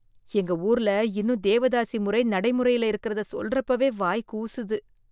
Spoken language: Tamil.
எங்க ஊர்ல இன்னும் தேவதாசி முறை நடைமுறையில இருக்குறத சொல்றப்பவே வாய் கூசுது.